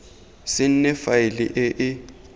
se nne faele e e